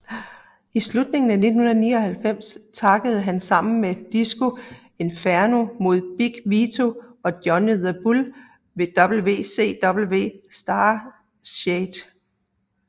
I slutningen af 1999 taggede han sammen med Disco Inferno mod Big Vito og Johnny the Bull ved WCW Starrcade